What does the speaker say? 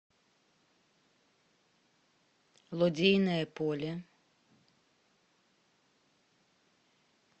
лодейное поле